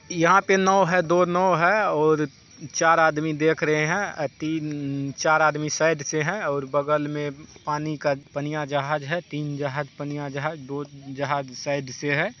यहा पे नव है दो नव है और चार आदमी देख रहे है। अ तीन अ चार आदमी साइड से है और बगल मे पानी का पनिया जहाज है। तीन जहाज पनिया जहाज दो जहाज साइड से है।